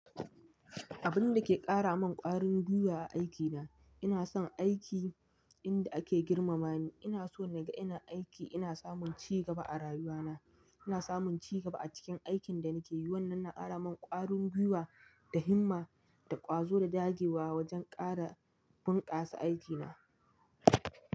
Abin da ke kara min ƙwarin gwiwa a aikina, ina son aiki inda ake girmama ni. Ina so na ga ina aiki ina samun ci gaba a rayuwana. Ina samun ci gaba a cikin aikin da nake yi. Wannan na kara min ƙwarin gwiwa da himma da ƙwazo da dagewa wajen ƙara bunkasa aikina.